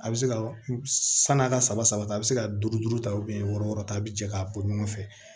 A bɛ se ka san'a ka saba ta a bɛ se ka duuru duuru ta wɔɔrɔ wɔɔrɔ ta a bɛ jɛ k'a bɔ ɲɔgɔn fɛ